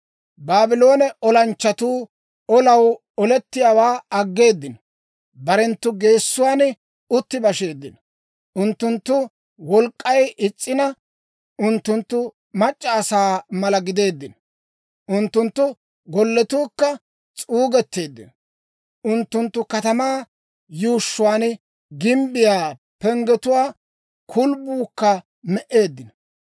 Baabloone olanchchatuu olaa olettiyaawaa aggeeddino; barenttu geesuwaan utti basheeddino. Unttunttu wolk'k'ay is's'ina; unttunttu mac'c'a asaa mala gideeddino. Unttunttu gollatuukka s'uugetteeddino; unttunttu katamaa yuushshuwaa gimbbiyaa penggetuwaa kulbbuukka me"eeddino.